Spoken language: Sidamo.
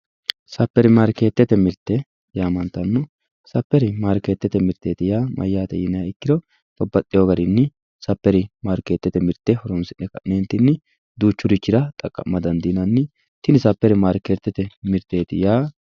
Saperi markete yamantano ,saperi mirte mati yinniro babbaxewo garinni saperi mirte horonsi'ne ka'nentinni duuchurichira xaqama dandiinanni ,tini saperi yaa.